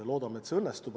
Loodame, et see õnnestub.